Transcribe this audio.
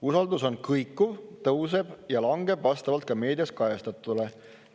Usaldus on kõikuv, tõuseb ja langeb vastavalt ka meedias kajastatule.